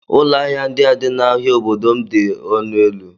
Ụlọ ahịa ndị a dị n'ahia obodo m dị ọnụ élú